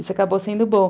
Isso acabou sendo bom.